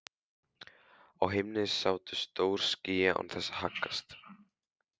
Á himni sátu stór ský án þess að haggast.